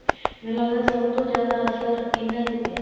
ਮੈਨੂੰ ਲੱਗਦਾ ਹੈ ਸਭ ਤੋਂ ਜਿਆਦਾ ਅਸਰ ਇਹਨਾ ਤੇ ਪਇਆ ਹੈ